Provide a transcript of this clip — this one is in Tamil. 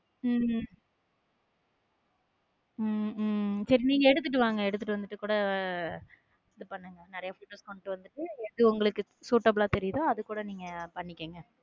உம் உம் சேரி நீங்க எடுத்துட்டு வாங்க எடுத்துட்டு வந்துட்டு கூட இது பண்ணுங்க நிறைய photo எடுத்துட்டு வந்துட்டு எது உங்களுக்கு suitable ல தெரியுதோ அதை கூட நீங்க பண்ணிக்கங்க.